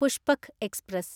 Pushpak express